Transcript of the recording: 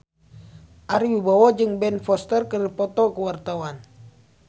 Ari Wibowo jeung Ben Foster keur dipoto ku wartawan